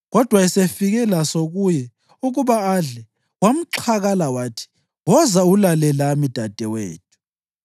Kodwa esefike laso kuye ukuba adle, wamxhakala wathi, “Woza ulale lami, dadewethu.”